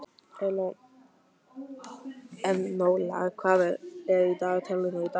Enóla, hvað er í dagatalinu í dag?